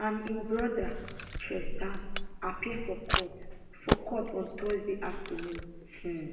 and im brother tristan appear for court for court on thursday afternoon um